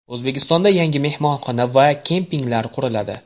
O‘zbekistonda yangi mehmonxona va kempinglar quriladi .